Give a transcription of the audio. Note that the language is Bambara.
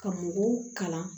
Ka mɔgɔw kalan